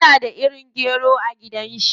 Yana da irin gero a gidan shi.